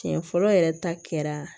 Tiɲɛ fɔlɔ yɛrɛ ta kɛra